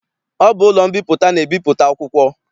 Ọ bụ ụlọ mbipụta na-ebipụta akwụkwọ.